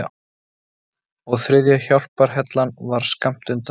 Og þriðja hjálparhellan var skammt undan.